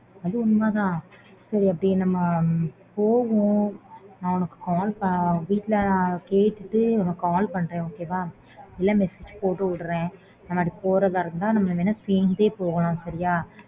அது உண்மை தான் சரி நம்ம போவோம் நான் உனக்கு வீட்டுல கேட்டுட்டு call பண்ணுறேன் நம்ம அப்பிடி போறதா இருந்த நம்ம ரெண்டு பெரும் சேர்ந்தெய் போகலாம் சரியாய்